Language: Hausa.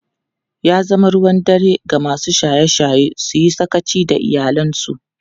Ya zama ruwan dare ga masu shaye-shaye su yi sakaci da iyalansu.